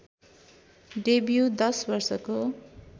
debut १० वर्षको